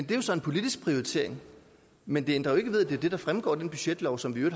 det er jo så en politisk prioritering men det ændrer ikke ved at det er det der fremgår af den budgetlov som vi i